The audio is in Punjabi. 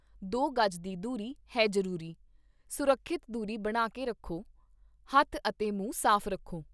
ਦੋ ਗਜ਼ ਦੀ ਦੂਰੀ, ਹੈ ਜ਼ਰੂਰੀ ਸੁਰੱਖਿਅਤ ਦੂਰੀ ਬਣਾ ਕੇ ਰਖੋ ਹੱਥ ਅਤੇ ਮੂੰਹ ਸਾਫ਼ ਰੱਖੋ।